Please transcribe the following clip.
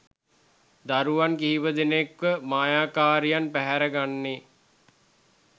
දරුවන් කිහිපදෙනෙක්වම මායාකාරියන් පැහැර ගන්නේ?